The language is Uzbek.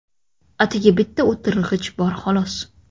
Atigi bitta o‘tirg‘ich bor, xolos.